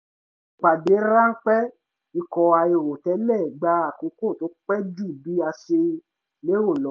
ìpàdé ráńpẹ́ ikọ̀ àìrò tẹ́lẹ̀ gba àkókò tó pẹ́ ju bí a ṣe lérò lọ